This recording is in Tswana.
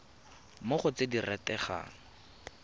mo go tse di rategang